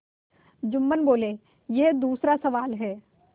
जुम्मन बोलेयह दूसरा सवाल है